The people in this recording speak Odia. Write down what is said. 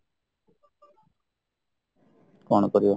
କ'ଣ କରିବା